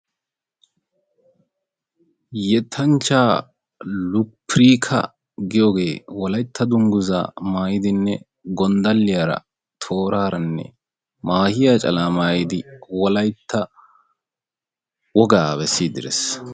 yettanchcha luppirkka giyooge Wolaytat dungguzza maayidinne gonddaliyaa tooraranne maahiya calaa maayidi Wolaytta wogaa bessidi des.